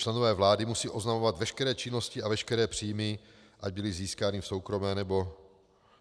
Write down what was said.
Členové vlády musí oznamovat veškeré činnosti a veškeré příjmy, ať byly získány v soukromé nebo